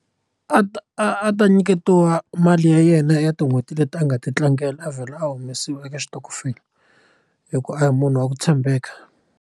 A ta a ta nyiketiwa mali ya yena ya tin'hweti leti a nga ti tlangela a vhela a humesiwa eka xitokofela hikuva a hi munhu wa ku tshembeka.